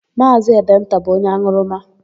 Maazị Edenta bụ onye an̄ụrụma.